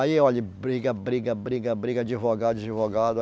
Aí, olha, briga, briga, briga, briga, advogado, advogado.